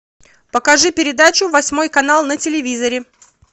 покажи передачу восьмой канал на телевизоре